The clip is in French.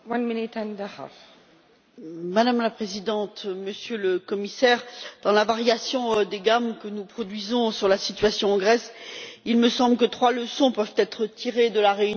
Madame la Présidente, Monsieur le Commissaire, dans la variation des gammes que nous produisons sur la situation en Grèce, il me semble que trois leçons peuvent être tirées de la réunion de l'Eurogroupe, qui s'est tenue hier.